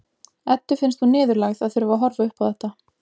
Eddu finnst hún niðurlægð að þurfa að horfa upp á þetta.